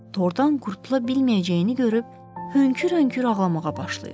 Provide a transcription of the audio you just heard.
Tordan qurtula bilməyəcəyini görüb hönkür-hönkür ağlamağa başlayır.